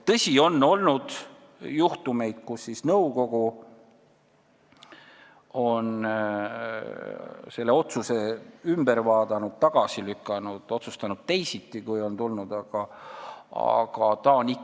Tõsi, on olnud juhtumeid, kus nõukogu on otsuse üle vaadanud, tagasi lükanud või otsustanud teisiti, kui on ette pandud.